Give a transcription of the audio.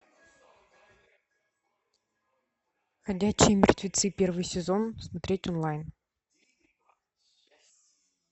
ходячие мертвецы первый сезон смотреть онлайн